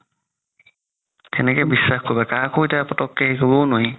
কেনেকে বিশ্বাস কৰিবা কাকো এতিয়া পতক্কে নোৱাৰি